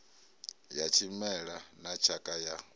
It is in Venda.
ya tshimela na tshakha ya